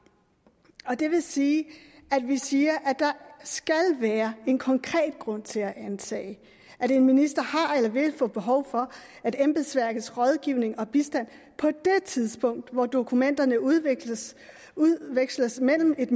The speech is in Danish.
det vil sige at vi siger at der skal være en konkret grund til at antage at en minister har eller vil få behov for embedsværkets rådgivning og bistand på det tidspunkt hvor dokumenterne udveksles udveksles mellem et